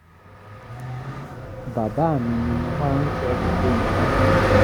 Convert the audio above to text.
bàbá mi ni mo máa ń sọ gbogbo nǹkan fún